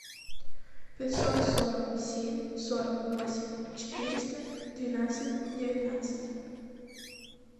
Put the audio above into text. пятьсот сорок семь сорок восемь четыреста двенадцать девятнадцать